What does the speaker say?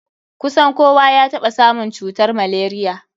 Kusan kowa ya taɓa samun cutar malaria.